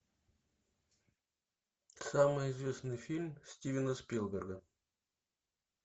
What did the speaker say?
самый известный фильм стивена спилберга